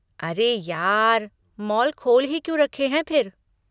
अरे यार! मॉल खोल ही क्यों रखे हैं फिर?